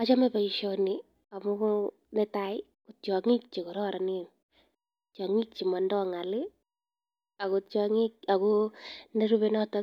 Achame boisioni amun netai: tiong'ik che kororonen, tiong'ik che motindoi ng'alak, ago nerupe noto